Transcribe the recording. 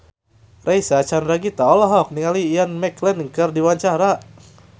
Reysa Chandragitta olohok ningali Ian McKellen keur diwawancara